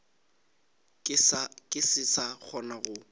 ke se sa kgona go